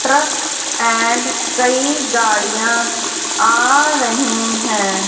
Truck and कई गाड़ियां आ रही है।